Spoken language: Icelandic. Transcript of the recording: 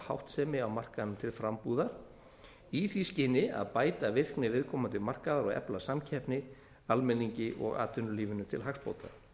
háttsemi á markaðnum til frambúðar í því skyni að bæta virkni viðkomandi markaðar og efla samkeppni almenningi og atvinnulífinu til hagsbóta